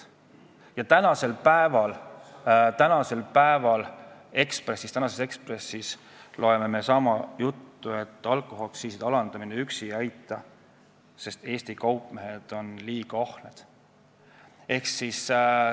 Ja tänasest Eesti Ekspressist loeme me sama juttu, et alkoholiaktsiiside alandamine üksi ei aita, sest Eesti kaupmehed on liiga ahned.